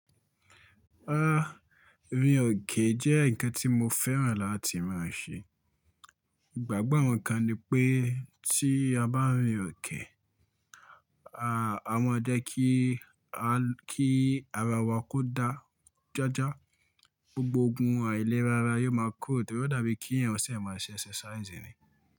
Ah, rin òkè jẹ́ ǹkan tí mo fẹ́ràn láti máa ṣe. Ìgbàgbọ́ àwọn kan ni pé tí a bá rin òkè, aà, a mọ jẹ́ kí a kí ara wa kó dá jájá, gbogbogbòò òògùn àìlera ara yóò máa kúrò torí ó dàbí kí èèyàn ṣẹ̀ máa ṣe exercise ni.